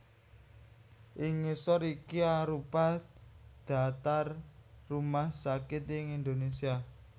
Ing ngisor iki arupa dhaptar rumah sakit ing Indonésia